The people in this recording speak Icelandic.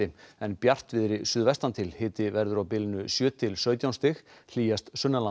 en bjartviðri suðvestan til hiti verður á bilinu sjö til sautján stig hlýjast